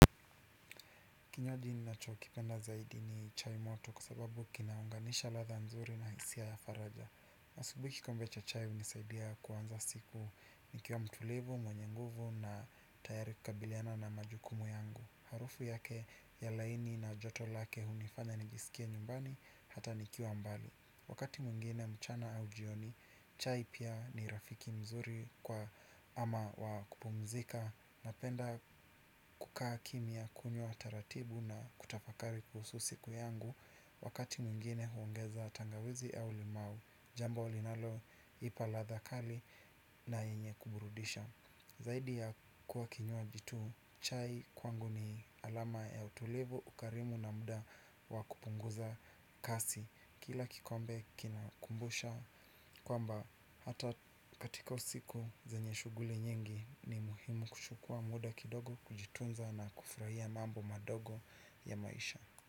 Kinywaji nacho kipenda zaidi ni chai moto kwa sababu kinaunganisha ladha nzuri na hisia ya faraja asubuhi kikombe cha chai hunisaidia kuanza siku nikiwa mtulivu, mwenye nguvu na tayari kukabiliana na majukumu yangu. Harufu yake ya laini na joto lake hunifanya nijisikie nyumbani hata nikiwa mbali. Wakati mwingine mchana au jioni, chai pia ni rafiki mzuri kwa ama wakupumzika. Napenda kukaa kimya kunywa taratibu na kutafakari kuhusu siku yangu. Wakati mwingine huongeza tangawizi au limau, jambo linalo, ipa ladha kali na yenye kuburudisha. Zaidi ya kuwa kinywaji tu, chai kwangu ni alama ya utulivu, ukarimu na muda wakupunguza kasi. Kila kikombe kinakumbusha kwamba hata katika usiku zenye shuguli nyingi ni muhimu kuchukua muda kidogo kujitunza na kufurahia mambo madogo ya maisha.